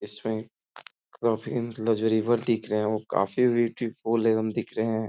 इसमें काफी लग्जरेबल दिख रहे हैं। वो काफी ब्यूटीफुल एवं दिख रहे हैं।